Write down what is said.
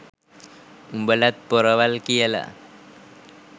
උඹලත් පොරවල් කියලා